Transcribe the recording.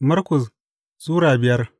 Markus Sura biyar